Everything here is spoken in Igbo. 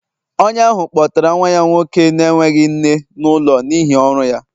Onye ahụ kpọtara nwa ya nwoke na-enweghị nne n'ụlọ n'ihi ọrụ ya